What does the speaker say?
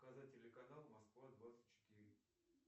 показать телеканал москва двадцать четыре